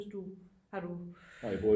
Hvis du har du